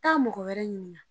taa mɔgɔ wɛrɛ ɲininka